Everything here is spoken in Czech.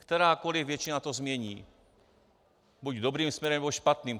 Kterákoliv většina to změní, buď dobrým směrem, nebo špatným.